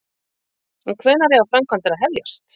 En hvenær eiga framkvæmdir að hefjast?